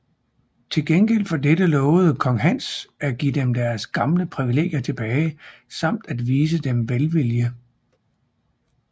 Til gengæld for dette lovede kong Hans at give dem deres gamle privilegier tilbage samt at vise dem velvilje